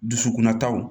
Dusukunna taw